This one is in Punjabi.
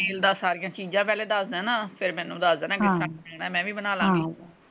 ਮਿਲਦਾ ਸਾਰੀਆਂ ਚੀਜਾਂ ਪਹਿਲੇ ਦੱਸ ਦੇਣਾ ਫੇਰ ਮੈਨੂੰ ਦੱਸ ਦੇਣਾ ਹਾ ਹਾ ਮੈਂ ਵੀ ਬਣਾ ਲਾਗੀ ।